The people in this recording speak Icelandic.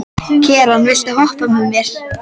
Keran, viltu hoppa með mér?